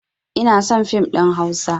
Inason fim ɗin hausa